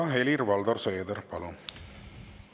Helir-Valdor Seeder, palun!